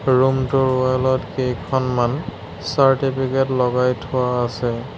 Room টোৰ wall ত কেইখনমান চাৰ্টিফিকেট লগাই থোৱা আছে।